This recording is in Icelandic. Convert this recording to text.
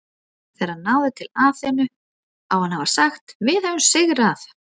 Þegar hann náði til Aþenu á hann að hafa sagt Við höfum sigrað!